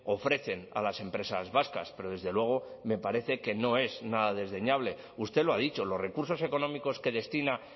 ofrecen a las empresas vascas pero desde luego me parece que no es nada desdeñable usted lo ha dicho los recursos económicos que destina